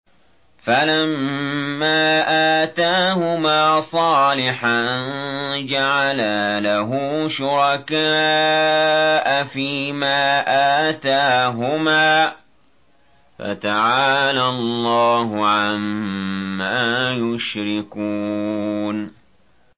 فَلَمَّا آتَاهُمَا صَالِحًا جَعَلَا لَهُ شُرَكَاءَ فِيمَا آتَاهُمَا ۚ فَتَعَالَى اللَّهُ عَمَّا يُشْرِكُونَ